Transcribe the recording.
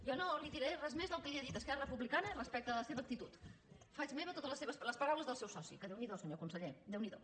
jo no li diré res més del que li ha dit esquerra republicana respecte a la seva actitud faig meves les paraules del seu soci que déu n’hi do senyor conseller déu n’hi do